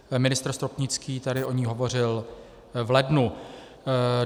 Ministr Stropnický tady o ní hovořil v lednu.